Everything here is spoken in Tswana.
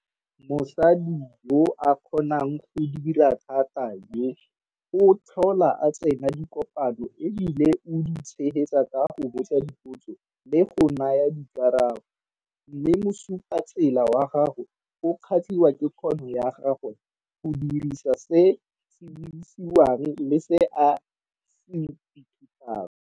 Mosadi yo a kgonang go dira thata yo, o tlhola a tsena dikopano e bile o di tshegetsa ka go botsa dipotso le go naya dikarabo mme mosupetsatsela wa gagwe o kgatliwa ke kgono ya gagwe go dirisa se se buiwang le se a se ithutang.